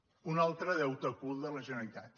un altre deute ocult de la generalitat